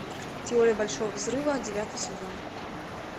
теория большого взрыва девятый сезон